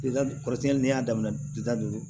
Kɔrɔsɛnni n'i y'a daminɛ dilan don